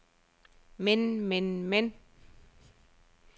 men men men